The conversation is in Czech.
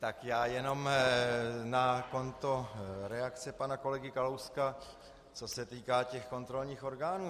Tak já jenom na konto reakce pana kolegy Kalouska, co se týká těch kontrolních orgánů.